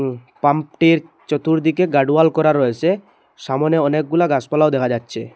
Pump টির চতুর্দিকে guard wall করা রয়েসে সামোনে অনেকগুলা গাছপালাও দেখা যাচ্ছে।